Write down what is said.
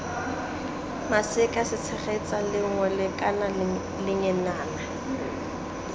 maseka setshegetsa lengole kana lengenana